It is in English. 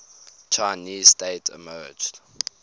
chinese state emerged